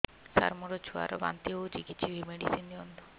ସାର ମୋର ଛୁଆ ର ବାନ୍ତି ହଉଚି କିଛି ମେଡିସିନ ଦିଅନ୍ତୁ